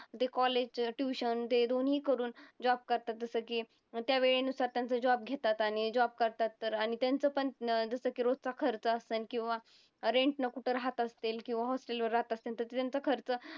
ते college, tuition ते दोन्ही करून job करतात जसं की मग त्या वेळेनुसार त्यांचं job घेतात आणि job करतात तर आणि त्यांचंपण जसं की रोजचा खर्च असन किंवा rent ने कुठं राहत असतील किंवा hostel वर राहत असतील तर त्यांचा खर्च